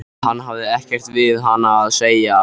Hann hefði ekkert við hana að segja.